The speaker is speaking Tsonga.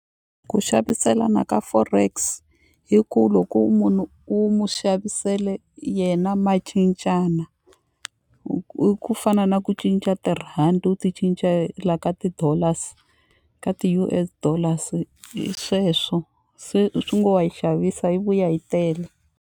Ku xaviselana ka forex hi ku loko munhu u mu xavisele yena ma cincana i ku fana na ku cinca tirhandi u ti cincela ka ti dollars ka ti U_S dollars hi sweswo se swi ngo wa yi xavisa yi vuya yi tele.